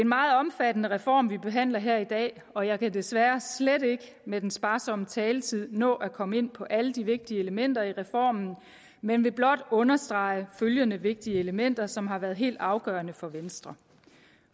meget omfattende reform vi behandler her i dag og jeg kan desværre slet ikke med den sparsomme taletid nå at komme ind på alle de vigtige elementer i reformen men vil blot understrege følgende vigtige elementer som har været helt afgørende for venstre